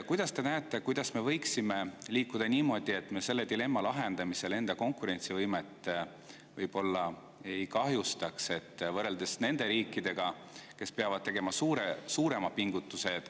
Kuidas te näete, kuidas me võiksime liikuda niimoodi, et me selle dilemma lahendamisel enda konkurentsivõimet võib-olla ei kahjustaks, võrreldes nende riikidega, kes peavad selleks tegema suurema pingutuse?